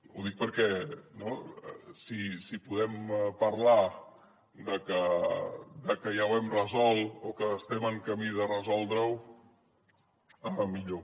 ho dic perquè si podem parlar de que ja ho hem resolt o que estem en camí de resoldre ho millor